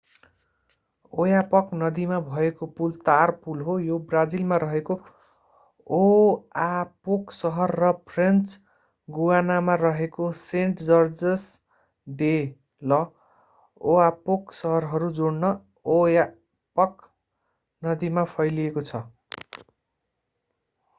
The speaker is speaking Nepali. ओयापक नदीमा भएको पुल तार पुल हो यो ब्राजिलमा रहेको ओआपोक सहर र फ्रेन्च गुयानामा रहेको सेन्ट-जर्जस डे ल'ओयापोक सहरहरू जोड्न ओयापक नदीमा फैलिएको छ